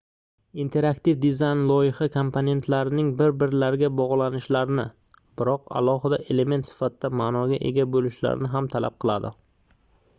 interaktiv dizayn loyiha komponentlarining bir-birlariga bogʻlanishlarini biroq alohida element sifatida maʼnoga ega boʻlishlarini ham talab qiladi